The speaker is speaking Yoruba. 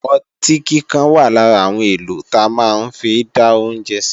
Ọtí kíkan wà lára àwọn èlò ta máa ń fi dá oúnjẹ sí